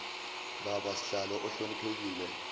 baba sihlalo ohloniphekile